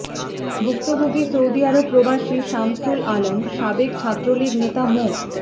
ভুক্তভোগী সৌদিআরব প্রবাসী শামসুল আলম সাবেক ছাত্রলীগ নেতা মো